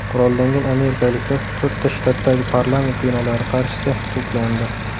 Qurollangan amerikaliklar to‘rtta shtatdagi parlament binolari qarshisida to‘plandi .